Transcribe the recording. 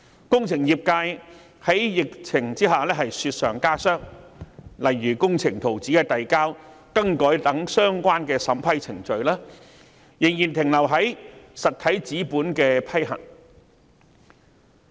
在疫情之下，工程業界的情況更是雪上加霜，例如遞交和更改工程圖紙等的相關審批程序，仍然停留在審核實體紙本的階段。